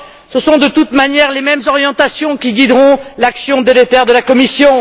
Ce sont de toute manière les mêmes orientations qui guideront l'action délétère de la Commission.